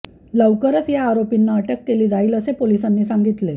लवकरच या आरोपींना अटक केली जाईल असे पोलिसांनी सांगितले